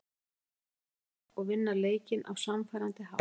Það var gott að skora og vinna leikinn á sannfærandi hátt.